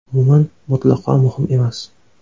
Umuman, mutlaqo muhim emas.